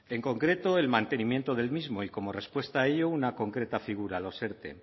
en concreto el mantenimiento del mismo y como respuesta a ello una concreta figura los erte